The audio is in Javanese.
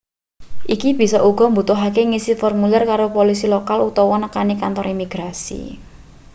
iki bisa uga mbutuhake ngisi formulir karo polisi lokal utawa nekani kantor imigrasi